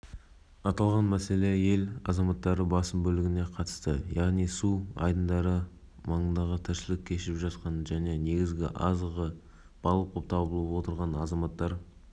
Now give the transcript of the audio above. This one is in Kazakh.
инфрақұрылым объектісі спорт объектісі алдағы үш күнде ел аумағын суық ауа фронттары басады деп күтілуде халық